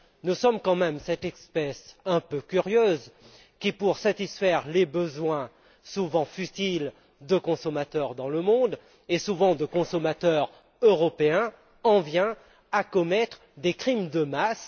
Nous sommes quand même cette espèce un peu curieuse qui, pour satisfaire les besoins souvent futiles de consommateurs dans le monde et, souvent, de consommateurs européens en vient à commettre des crimes de masse.